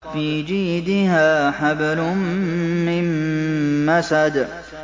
فِي جِيدِهَا حَبْلٌ مِّن مَّسَدٍ